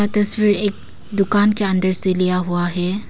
तस्वीर एक दुकान के अंदर से लिया हुआ है।